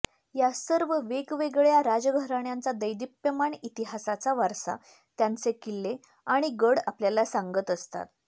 या सर्व वेगवेगळ्या राजघराण्यांच्या दैदिप्यमान इतिहासाचा वारसा त्यांचे किल्ले आणि गड आपल्याला सांगत असतात